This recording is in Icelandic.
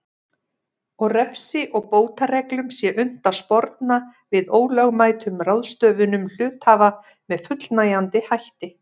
og refsi og bótareglum sé unnt að sporna við ólögmætum ráðstöfunum hluthafa með fullnægjandi hætti.